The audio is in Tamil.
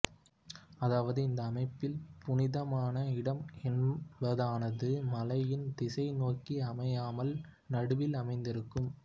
அதாவது இந்த அமைப்பில் புனிதமான இடம் என்பதானது மலையின் திசையை நோக்கி அமையாமல் நடுவில் அமைந்திருக்கும்